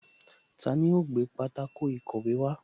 Taani ó gbé pátákó ìkọ̀wé wá